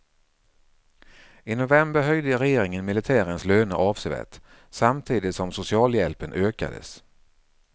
I november höjde regeringen militärens löner avsevärt, samtidigt som socialhjälpen ökades.